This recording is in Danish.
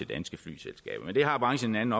danske flyselskaber men det har branchen en